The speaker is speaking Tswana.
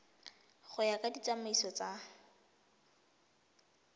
go ya ka ditsamaiso tsa